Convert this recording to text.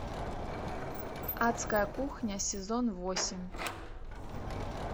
адская кухня сезон восемь